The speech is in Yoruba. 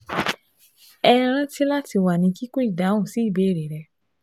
HẸ ranti lati wa ni kikun idahun si ibeere rẹ